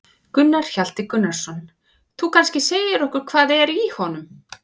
Gunnar Atli Gunnarsson: Þú kannski segir okkur hvað er í honum?